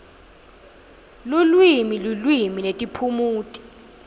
lulwimi lulwimi netiphumuti